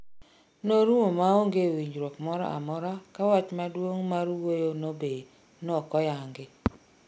Norumo maonge winjruok moro amora ka wach maduong' mar wuoyo no be nokoyangi